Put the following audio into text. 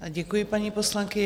Děkuji, paní poslankyně.